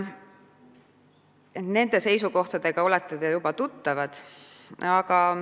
Nende seisukohtadega olete te juba tuttavad.